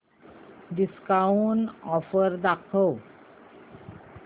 discount offer दाखव